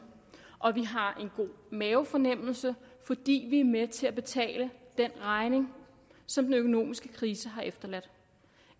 og vi har en god mavefornemmelse fordi vi er med til at betale den regning som den økonomiske krise har efterladt